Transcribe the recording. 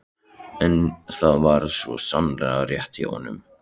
En það var svo sannarlega rétt hjá honum.